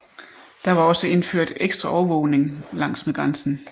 Der var også indført ekstra overvågning langsmed grænsen